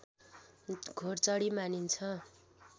घोडचढी मानिन्छ